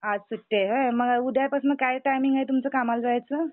आज सुट्टी आहे व्हय मग उद्या पासन काय टाईमिंग आहे तुमचा कामाला जायचा?